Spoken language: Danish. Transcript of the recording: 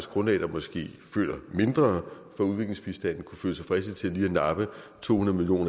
grundlag der måske føler mindre for udviklingsbistand kunne føle sig fristet til lige at nappe to hundrede million